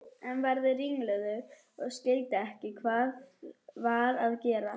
Ég varð ringluð og skildi ekki hvað var að gerast.